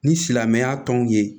Ni silamɛya tɔnw ye